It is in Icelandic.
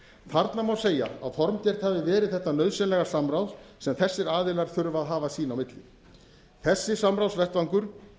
þarna má segja að formgert hafi verið þetta nauðsynlega samráð sem þessir aðilar þurfa að hafa sín á milli þessi samráðsvettvangur